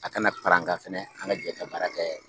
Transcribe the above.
A kana paran ka fɛnɛ an ka jɛ ka baara kɛ.